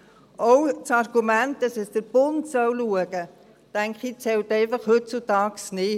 Auch das Argument, dass der Bund schauen solle, denke ich, zählt einfach heutzutage nicht.